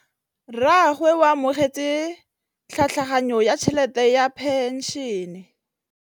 Rragwe o amogetse tlhatlhaganyô ya tšhelête ya phenšene.